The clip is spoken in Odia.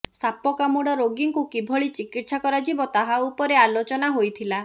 ସାପକାମୁଡ଼ା ରୋଗୀଙ୍କୁ କିଭଳି ଚିକିତ୍ସା କରାଯିବ ତାହା ଉପରେ ଆଲୋଚନା ହୋଇଥିଲା